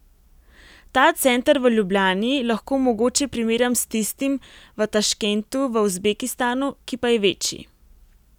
Ta center v Ljubljani lahko mogoče primerjam s tistim v Taškentu v Uzbekistanu, ki pa je večji.